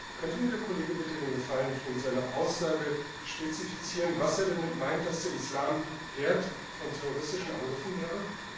Könnte mir der Kollege bitte den Gefallen tun, seine Aussage zu spezifizieren? Was meint er damit, dass der Islam Herd von terroristischen Angriffen wäre?